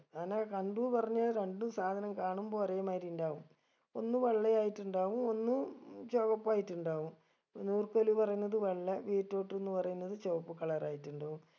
ഞാനക്കെ കണ്ടു പറഞ്ഞ രണ്ടും സാധനം കാണുമ്പൊ ഒരേ മായിരി ഉണ്ടാവും ഒന്ന് വെള്ളയായിട്ടുണ്ടാവും ഒന്ന് ഉം ചൊകപ്പ് ആയിട്ടുണ്ടാവും നൂർക്കോൽ പറയുന്നത് വെള്ള beetroot ന്ന് പറയുന്നത് ചൊവപ്പ് color ആയിട്ടുണ്ടാവും